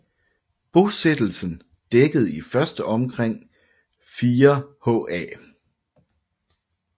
Bosættelsen dækkede i første omgang omkring 4 ha